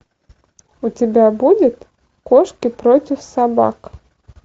у тебя будет кошки против собак